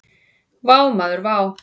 Vá maður vá!